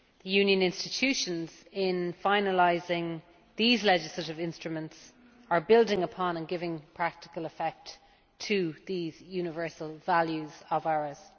Union institutions, in finalising these legislative instruments, are building upon and giving practical effect to these universal values of ours.